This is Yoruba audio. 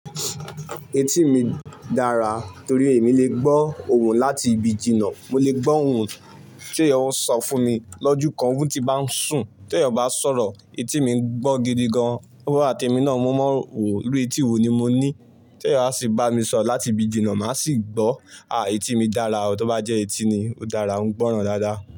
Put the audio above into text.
Etí mi dára torí èmi le gbọ́ ohùn láti ibi jìnà. Mo lè gbọ́ ohùn tí ọ ń sọ fún mi lọ́jú kan, ohùn ti í bá ń sùn. Tí èèyàn bá ń sọ̀rọ̀, etí mi ń gbọ́n gidi gan. Ọa àti èmi náà mọ́ ọ́n rò pe, iru etí wo ni mo ní. Tí eyan bá si bami sọ̀rọ̀ láti ibi jìnà, màá sì gbọ́. Àí etí mi dára o, tó bá jẹ́ etí ni, ó dára, ń gbọ́ran dáadáa.